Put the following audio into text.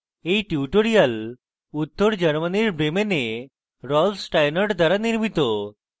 এই টিউটোরিয়াল উত্তর germany bremen rolf steinort দ্বারা নির্মিত